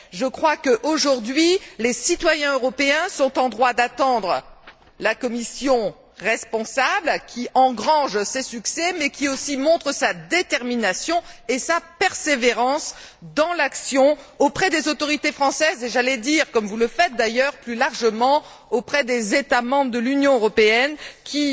Je crois qu'aujourd'hui, les citoyens européens sont en droit d'attendre une Commission responsable qui engrange ses succès mais qui aussi montre sa détermination et sa persévérance dans l'action auprès des autorités françaises, comme vous le faites d'ailleurs plus largement auprès des États membres de l'Union européenne qui,